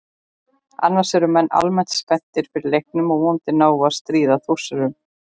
Annars eru menn almennt spenntir fyrir leiknum og vonandi náum við að stríða Þórsurunum.